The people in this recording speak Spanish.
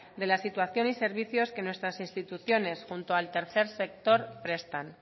de la situación y servicios que nuestras instituciones junto al tercer sector prestan